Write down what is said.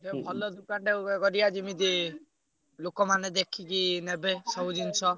ଭଲ ଦୋକାନଟେ ଗୋଟେ କରିଆ ଯେମିତି ଲୋକମାନେ ଦେଖିକି ନେବେ ସବୁ ଜିନିଷ।